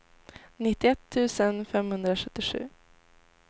nittioett tusen femhundrasjuttiosju